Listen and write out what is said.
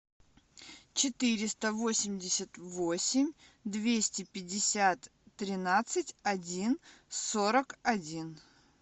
четыреста восемьдесят восемь двести пятьдесят тринадцать один сорок один